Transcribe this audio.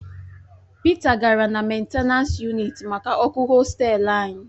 Pita gara na mentenans yunịt maka ọkụ hostelu anyị